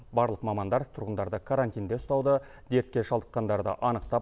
барлық мамандар тұрғындарды карантинде ұстауды дертке шалдыққандарды анықтап